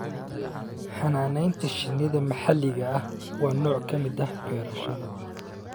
Xanaanaynta shinnida maxalliga ah waa nooc ka mid ah beerashada